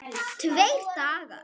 Tveir dagar!